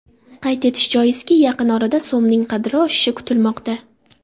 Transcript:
Qayd etish joizki, yaqin orada so‘mning qadri oshishi kutilmoqda.